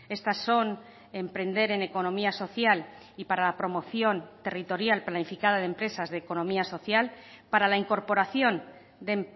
estas son emprender en economía social y para la promoción territorial planificada de empresas de economía social para la incorporación de